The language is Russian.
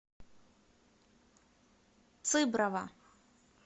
цыброва